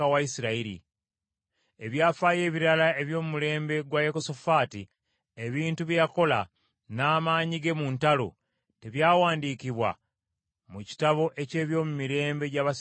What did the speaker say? Ebyafaayo ebirala eby’omulembe gwa Yekosafaati, ebintu bye yakola, n’amaanyi ge mu ntalo, tebyawandiikibwa mu kitabo eky’ebyomumirembe gya bassekabaka ba Yuda?